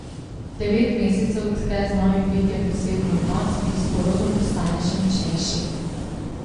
Devet mesecev tke z novim bitjem poseben odnos, ki s porodom postane še močnejši.